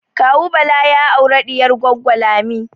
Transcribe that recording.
Kawu Bala ya aure diyar Goggo Lami